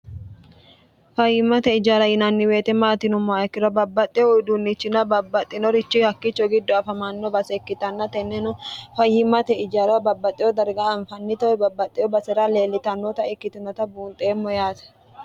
fayimmate ijara yinanniweete maatinom moaikkira babbaxxe uyiduunnichina babbaxxinorichi hakkicho giddo afamanno base ikkitanna tenneno fayimmate ijara babbaxxeyo darga anfannitowe babbaxxeyo base'ra leellitannoota ikkitinota buunxeemmo yaate